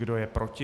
Kdo je proti?